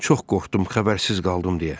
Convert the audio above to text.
Çox qorxdum, xəbərsiz qaldım deyə.